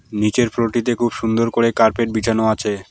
নিচের ফ্লোর -টিতে খুব সুন্দর করে কার্পেট বিছানো আছে।